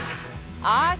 a